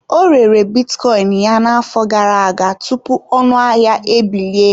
Ọ rere bitcoin ya n'afọ gara aga tupu ọnụ ahịa ebilie.